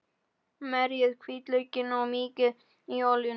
Merjið hvítlaukinn og mýkið í olíunni.